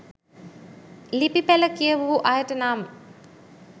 ලිපි පෙළ කියවූ අයට නම්